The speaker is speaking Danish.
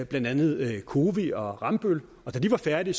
blandt andet cowi og rambøll og da de var færdige